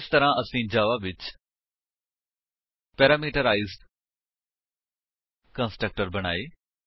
ਇਸ ਤਰਾਂ ਅਸੀਂ ਜਾਵਾ ਵਿੱਚ ਪੈਰਾਮੀਟਰਾਈਜ਼ਡ ਕੰਸਟਰਕਟਰ ਬਣਾਏ